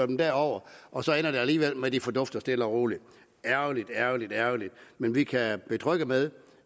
dem derover og så ender det alligevel med at de fordufter stille og roligt ærgerligt ærgerligt ærgerligt men vi kan betrygge med